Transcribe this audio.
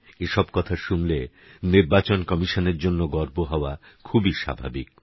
এসব কথা শুনলে নির্বাচন কমিশনের জন্যে গর্ব হওয়া খুবই স্বাভাবিক